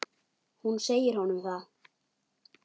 Og hún segir honum það.